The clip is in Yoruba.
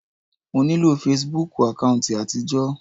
Mo nílò fesibúùkù àkáùntì àtijọ́.